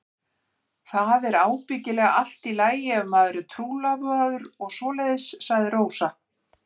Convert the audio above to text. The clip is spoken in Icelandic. Það er ábyggilega allt í lagi ef maður er trúlofaður og svoleiðis, sagði Rósa.